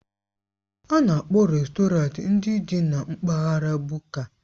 A na-akpọ rèstọrantị ndị dị na mpaghara Buka.